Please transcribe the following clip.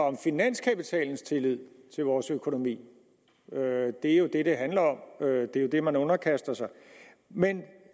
om finanskapitalens tillid til vores økonomi det er jo det det handler om det er jo det man underkaster sig men